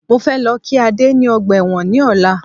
Mo fẹ́ lọ kí Ade ni ọgbà ẹ̀wọ̀n ní ọ̀la